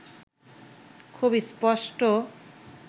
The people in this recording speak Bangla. খুব স্পষ্ট